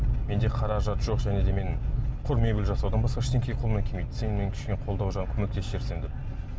менде қаражат жоқ және де мен құр мебель жасаудан басқа ештеңе қолымнан келмейді сен мені кішкене қолдау жағынан көмектесіп жіберсең деп